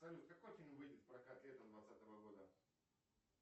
салют какой фильм выйдет в прокат летом двадцатого года